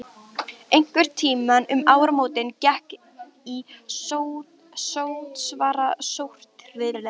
Einhvern tíma um áramót gekk í sótsvarta stórhríð.